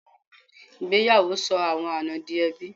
Ìgbéyàwó sọ àwọn àna di ẹbí.